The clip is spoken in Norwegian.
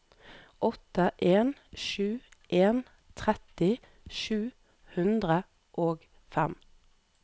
åtte en sju en tretti sju hundre og fem